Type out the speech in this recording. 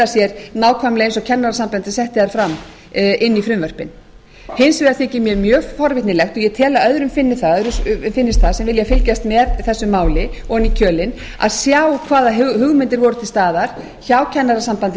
sér nákvæmlega eins og kennarasambandið setti þær fram inn í frumvörpin hins vegar þykir mér mjög forvitnilegt og ég tel að öðrum finnist það sem vilja fylgjast með þessu máli ofan í kjölinn að sjá hvaða hugmyndir voru til staðar hjá kennarasambandinu